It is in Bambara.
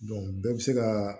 bɛɛ bɛ se ka